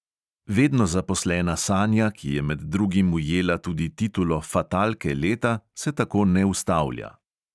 Vedno zaposlena sanja, ki je med drugim ujela tudi titulo fatalke leta, se tako ne ustavlja.